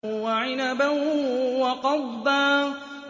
وَعِنَبًا وَقَضْبًا